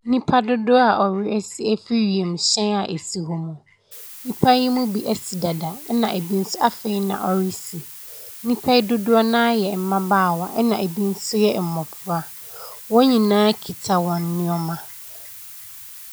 Nipadodoɔ a wɔresi afiri wiemhyɛn a ɛsi hɔ mu. Nnipayi mu bi asi dada, ɛna ɛbi nso afei na wɔresi. Nnipa yi dodoɔ no ara yɛ mmabaawa, ɛna ɛbi nso yɛ mmɔfra. Wɔn nyinaa kita wɔn nneɛma.